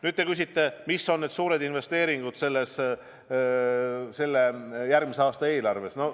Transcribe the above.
Nüüd te küsite, millised on suured investeeringud järgmise aasta eelarves.